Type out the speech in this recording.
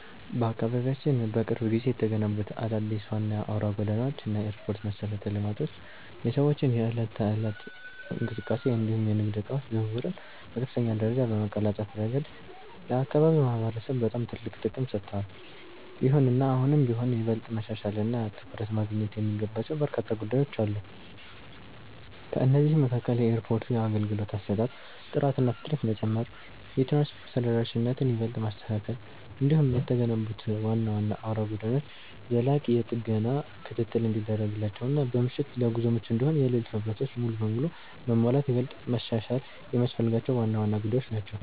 በአካባቢያችን በቅርብ ጊዜ የተገነቡት አዳዲስ ዋና አውራ ጎዳናዎች እና የኤርፖርት መሠረተ ልማቶች የሰዎችን የዕለት ተዕለት እንቅስቃሴ እንዲሁም የንግድ ዕቃዎች ዝውውርን በከፍተኛ ደረጃ በማቀላጠፍ ረገድ ለአካባቢው ማህበረሰብ በጣም ትልቅ ጥቅም ሰጥተዋል። ይሁንና አሁንም ቢሆን ይበልጥ መሻሻልና ትኩረት ማግኘት የሚገባቸው በርካታ ጉዳዮች አሉ። ከእነዚህም መካከል የኤርፖርቱ የአገልግሎት አሰጣጥ ጥራትና ፍጥነት መጨመር፣ የትራንስፖርት ተደራሽነትን ይበልጥ ማስተካከል፣ እንዲሁም የተገነቡት ዋና ዋና አውራ ጎዳናዎች ዘላቂ የጥገና ክትትል እንዲደረግላቸውና በምሽት ለጉዞ ምቹ እንዲሆኑ የሌሊት መብራቶች ሙሉ በሙሉ መሟላት ይበልጥ መሻሻል የሚያስፈልጋቸው ዋና ዋና ጉዳዮች ናቸው።